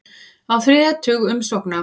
Á þriðja tug umsókna